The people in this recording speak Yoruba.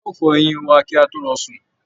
A óò fọ eyín wà kí a tó lọ sùn.